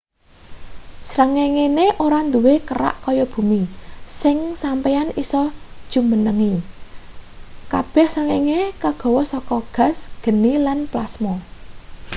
srengengene ora duwe kerak kaya bumi sing sampeyan isa jumenengi kabeh srengenge kagawe saka gas geni lan plasma